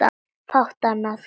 Fátt annað.